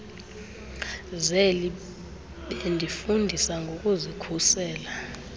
zeli befundisa ngokuzikhusela